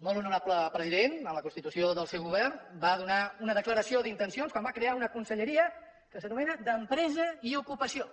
el molt honorable president en la constitució del seu govern va donar una declaració d’intencions quan va crear una conselleria que s’anomena d’empresa i ocupació